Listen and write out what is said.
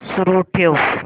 सुरू ठेव